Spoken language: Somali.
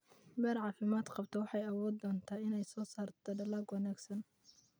Beer caafimaad qabta waxay awoodi doontaa inay soo saarto dalag wanaagsan.